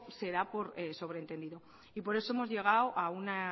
se da por sobreentendido y por eso hemos llegado a una